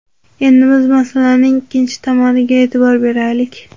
Endi biz masalaning ikkinchi tomoniga e’tibor beraylik.